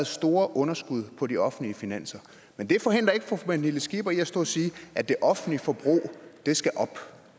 store underskud på de offentlige finanser men det forhindrer ikke fru pernille skipper i at stå og sige at det offentlige forbrug skal op